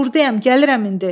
Burdayam, gəlirəm indi.